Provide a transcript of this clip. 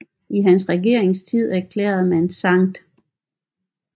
I hans regeringstid erklærede man Skt